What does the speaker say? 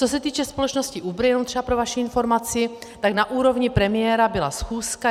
Co se týče společnosti Uber, jenom třeba pro vaši informaci, tak na úrovni premiéra byla schůzka.